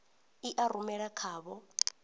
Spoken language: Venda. i a rumela kha vho